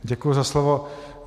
Děkuji za slovo.